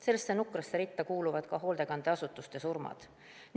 Sellesse nukrasse ritta kuuluvad ka hoolekandeasutuste surmad.